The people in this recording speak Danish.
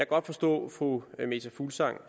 godt forstå at fru meta fuglsang